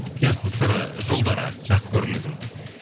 құпиясы сыры жолдары жас көрінудің